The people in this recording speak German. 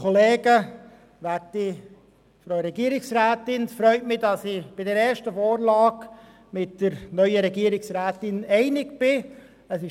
Es freut mich, dass ich bei der ersten Vorlage der neuen Regierungsrätin einig mit ihr bin.